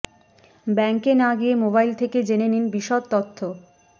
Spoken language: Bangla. ব্যাঙ্কে না গিয়ে মোবাইল থেকে জেনে নিন বিশদ তথ্য